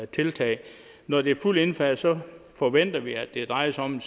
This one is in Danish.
tiltag når det er fuldt indfaset forventer vi at det drejer sig om